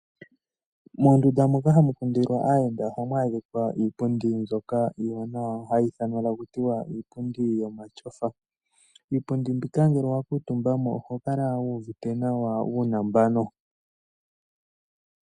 Moondunda moka hamukundilwa aayenda ohamu adhikwa iipundi mbyoka iiwanawa hayi ithanwa takutiwa iipundi yomatyofa. Iipundi mbika ngele owakiitumba mo oho kala wuuvite nawa, uunambano.